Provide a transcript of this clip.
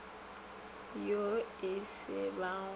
yo e se ba go